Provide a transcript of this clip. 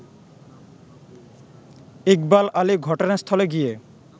ইকবাল আলী ঘটনাস্থলে গিয়ে